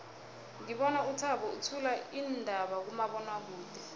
ngibona uthabo uthula iindaba kumabonwakude